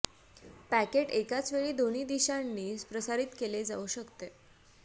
packet एकाच वेळी दोन्ही दिशांनी प्रसारित केले जाऊ शकते